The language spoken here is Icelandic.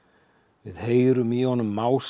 við heyrum í honum